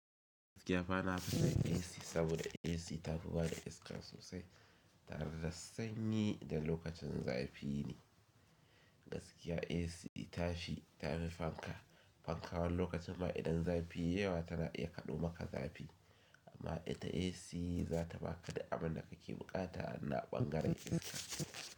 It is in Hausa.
Gaskiya ba na fi son AC saboda AC ta fi bada iska sosai tare da sanyi idan lokacin zafi ne. Gaskiya AC tashi ta fi fanka. Fanka wani lokacin ma idan zafi yai yawa tana iya kaɗo maka zafi amma ita AC za ta ba ka da abin da kake buƙata a naɓangaren kyanka.